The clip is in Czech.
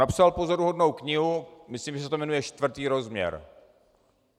Napsal pozoruhodnou knihu, myslím, že se to jmenuje Čtvrtý rozměr .